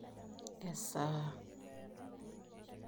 Esaa